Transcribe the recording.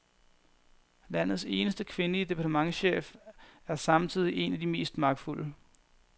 Landets eneste kvindelige departementschef er samtidig en af de mest magtfulde.